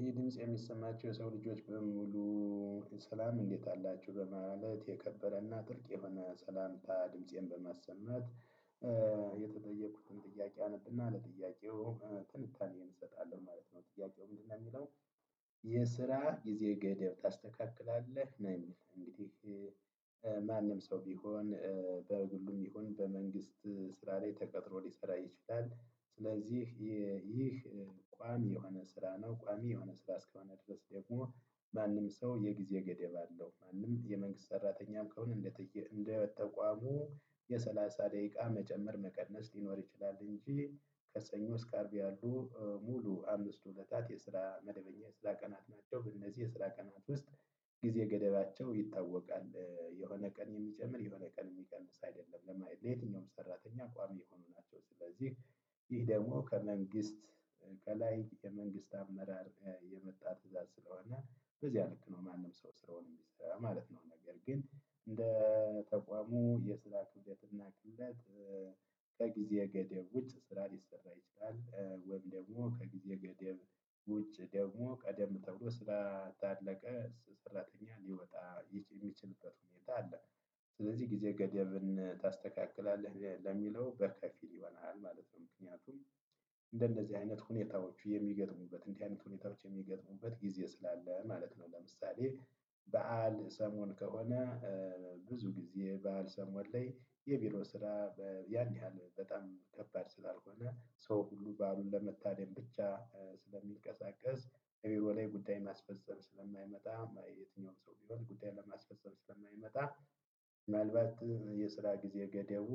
ይህ ድምጽ የሚሰማችሁ የሰው ልጆች በሙሉ ሰላም እንዴት አላችሁ በማለት የከበረ ና ጥልቅ የሆነ ሰላምታ በማሰማት-። የተጠየቅኩትን ጥያቄ አነብና ለጥያቄው ትንታኔ እሰጣለሁ ማለት ነው ጥያቄው ምንድነው የሚለው? የስራ ጊዜ ገደብ ታስተካክላለህ? ማንም ሰው ቢሆን በግሉም ይሁን በመንግስት ስራ ላይ ተቀጥሮ ሊሰራ ይችላል። ስለዚህ ይህ ቁአሚ የሆነ ስራ ነው። ቁአሚ የሆነ ስራ እስከሆነ ድረስ ደሞ ማንም ሰው የጊዜ ገደብ አለው። ማንም የመንግስት ሰራተኛ ከሆነ እንደ ተቁአሙ የሰላሳ ደቂቃ መጨመር መቀነስ ሊኖር ይቻላል። እንጂ ከሰኞ እስከ አርብ ያሉ ሙሉ አምስቱ ዕለታት የስራ መደበኛ የስራ ቀናት ናቸው። በእነዚህ የስራ ውስጥ ጊዜ ገደባቸው ይታወቃል። የሆነ ቀን የሚጨምር የሆነ ቀን የሚቀንስ አይደለም ለማየት ለየትኛውም ሰራተኛ ቋሚ የሆኑ ናቸው። ስለዚህ ይህ ደግሞ ከመንግስት ከላይ የመንግስት አመራር የመጣ ትእዛዝ ስለሆነ በዚህ ልክ ነው። ማንም ሰው ስራውን የሚሰራ ማለት ነው። ነገር ግን እንደ ተቋሙ የስራ ክብደት እና ቅለት። ከጊዜ ገደብ ውጭ ስራ ሊሰራ ይችላል። ወይም ደግሞ ከጊዜ ገደብ ውጭ ደግሞ ቀደም ተብሎ ስራ ታለቀ ሰራተኛ ሊወጣ የሚችልበት ሁኔታ አለ። ስለዚህ ጊዜ ገደብን ታስተካክላለህ ለሚለው በከፊል ይሆናል ማለት ነው። ምክንያቱም እንደነዚህ አይነት ሁኔታዎቹ የሚገጥሙበት እንዲህ አይነት ሁኔታዎች የሚገጥሙበት ጊዜ ስላለ ማለት ነው። ለምሳሌ በዓል ሰሞን ከሆነ። ብዙ ጊዜ ባል ሰሞን ላይ የቢሮ ስራ ያን ያህል በጣም ከባድ ስላልሆነ ሰው ሁሉ ባሉን ለመታደም ብቻ ስለሚልቀሳቀስ እቢሮ ላይ ጉዳይ ማስፈጸም ስለማይመጣ የትኛውም ሰው ቢሆን ጉዳይ ለማስፈሰል ስለማይመጣ። ምናልባት የስራ ጊዜ ገደቡ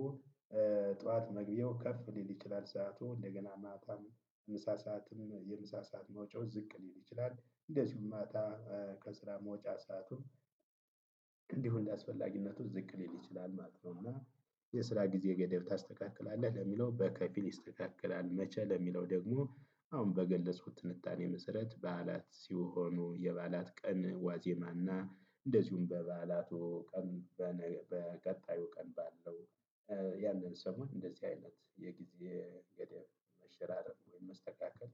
ጠዋት መግቢያው ከፍ ሊል ይችላል። ሰዓቱ እንደገና ማታም ምሳ ሰዓትም የምሳ ሰዓት መውጫው ዝቅ ሊል ይችላል። እንደዚሁም ማታ ከስራ መውጫ ሰአቱን። እንዲሁ እንደአስፈላጊነቱ ዝቅ ሊል ይችላል ማለት ነው። እና የስራ ጊዜ ገደብ ታስተካክላለህ ለሚለው በከፊል ይስተካከላል። መቼ ለሚለው ደግሞ አሁን በገለጽኩት ትንታኔ መሰረት በዓላት ሲሆኑ የበዓላት ቀን ዋዜማና እንደዚሁም በበዓላቱ ቀን። በቀጣዩ ቀን ባለው። ያንን ሰሞን እንደዚህ አይነት የጊዜ ገደብ መሸራረፍ ወይም መስተካከል።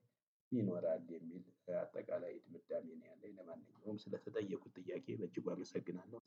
ይኖራል የሚል አጠቃላይ ድምዳሜ ነው። ያለኝ ለማንኛውም ስለተጠየቁት ጥያቄ በእጅጉ አመሰግናለሁ።